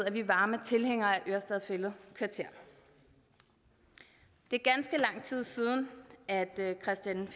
er vi varme tilhængere af ørestad fælled kvarter det er ganske lang tid siden at christian